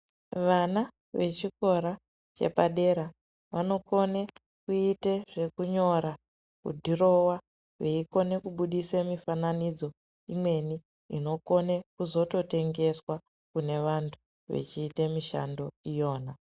Vana vechikora chepadera vanokone kuite zvekunyora kudhirowa veikone kubudise mifananidzo imweni inokone kuzoto tengeswa kune vantu vechiita mishando iyona .